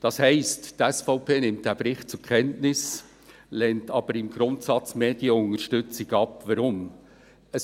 Das heisst, die SVP nimmt diesen Bericht zur Kenntnis, lehnt aber die Medienunterstützung im Grundsatz ab.